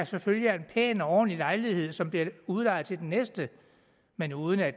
selvfølgelig er en pæn og ordentlig lejlighed som bliver udlejet til den næste men uden at